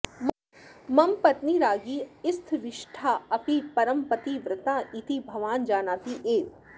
मम पत्नी राज्ञी स्थविष्ठा अपि परमपतिव्रता इति भवान् जानाति एव